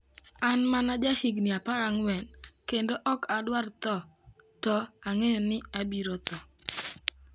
An mana jahigni 14, kendo ok adwar tho, to ang'eyo ni abiro tho.